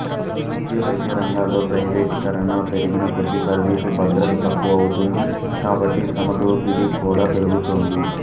ఇది విద్యా వైద్య రంగాల్లో ప్రయివేటీకరణ పెరిగిన కొద్దీ సర్వీసు భద్రత తక్కువవుతుంది కాబట్టి శ్రమదోపిడీ కూడా పెరుగుతుంది